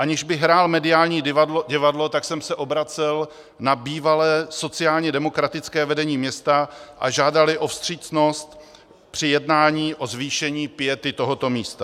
Aniž bych hrál mediální divadlo, tak jsem se obracel na bývalé sociálně demokratické vedení města a žádal o vstřícnost při jednání o zvýšení piety tohoto místa.